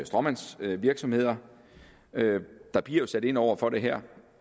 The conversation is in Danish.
stråmandsvirksomheder der bliver sat ind over for det her